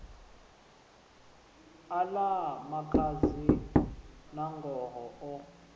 a ḽa makhadzi nangoho o